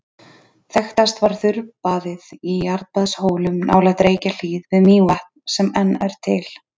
Þekktast var þurrabaðið í Jarðbaðshólum nálægt Reykjahlíð við Mývatn sem enn er til.